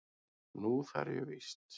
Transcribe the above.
Nú þarf ég víst.